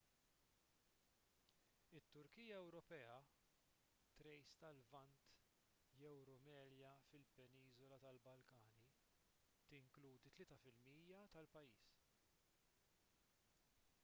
it-turkija ewropea thrace tal-lvant jew rumelia fil-peniżola tal-balkani tinkludi 3 % tal-pajjiż